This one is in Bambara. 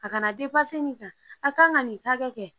A kana nin kan a kan ka nin hakɛ kɛ